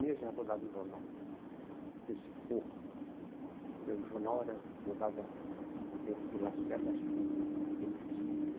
e meia já rodava o jornal, antecipou, porque o jornal era rodava no tempo do Lacerda, acho que meio-dia.